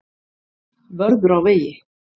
Vörður á vegi.